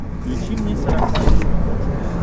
включи мне сарафан на смотрешке